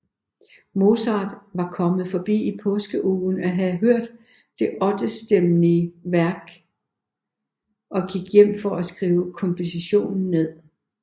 Mozart var kommet forbi i påskeugen og havde hørt det ottestemmige værk og gik hjem for at skrive kompositionen ned